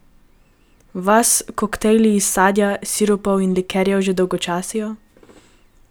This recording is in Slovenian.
Vas koktajli iz sadja, sirupov in likerjev že dolgočasijo?